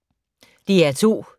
DR2